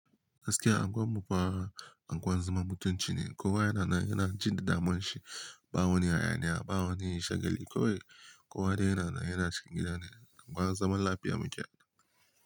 Gaskiya angwan mufa angwan zaman mutunci ne, kowa yana nan yana jin damuwanshi shi, ba wani hayaniya, ba wani shagali. Kowai kowa dai yana nan yana cikin gida ne, angwan zaman lafiya muke.